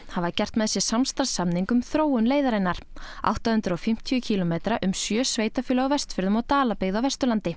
hafa gert með sér samstarfssamning um þróun leiðarinnar átta hundruð og fimmtíu kílómetra um sjö sveitarfélög á Vestfjörðum og Dalabyggð á Vesturlandi